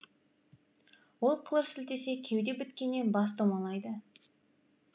ол қылыш сілтесе кеуде біткеннен бас домалайды